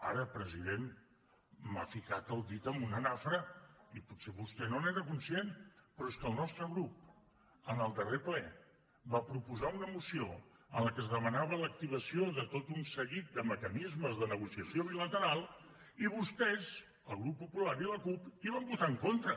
ara president m’ha ficat el dit en una nafra i potser vostè no n’era conscient però és que el nostre grup en el darrer ple va proposar una moció en la que es demanava l’activació de tot un seguit de mecanismes de negociació bilateral i vostès el grup popular i la cup hi van votar en contra